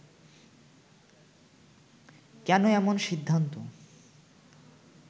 কেন এমন সিদ্ধান্ত